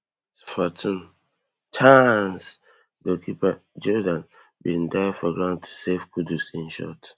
fourteen chaaaaaancegoalkeeper geordan bin dive for ground to save kudus im shot